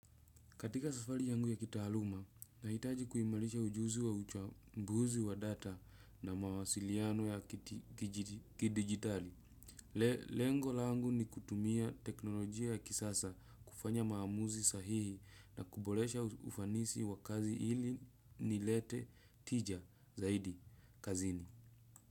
Katika safari yangu ya kitaaluma, nahitaji kuimarisha ujuzi wa uchambuzi wa data na mawasiliano ya kidijitali. Lengo langu ni kutumia teknolojia ya kisasa kufanya maamuzi sahihi na kuboresha ufanisi wa kazi ili nilete tija zaidi kazini.